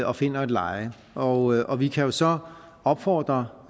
og finder et leje og og vi kan jo så opfordre